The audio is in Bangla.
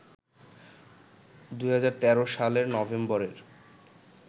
২০১৩ সালের নভেম্বরের